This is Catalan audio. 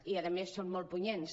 i a més són molt punyents